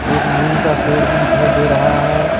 एक नीम का पेड़ भी दिखाई दे रहा है।